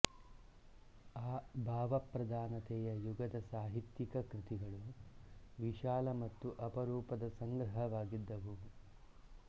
ಆ ಭಾವಪ್ರಧಾನತೆಯ ಯುಗದ ಸಾಹಿತ್ಯಿಕ ಕೃತಿಗಳು ವಿಶಾಲ ಮತ್ತು ಅಪರೂಪದ ಸಂಗ್ರಹವಾಗಿದ್ದವು